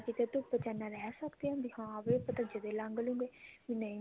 ਕਿਤੇ ਧੁੱਪ ਚ ਇੰਨਾ ਰਹੀ ਸਕਦੇ ਹਾਂ ਵੀ ਹਾਂ ਵੀ ਆਪਾਂ ਜਦੇ ਲੰਘ ਲੁਂਘ